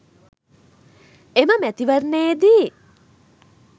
එම මැතිවරණයේදී